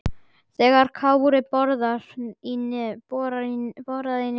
þegar Kári boraði í nefið.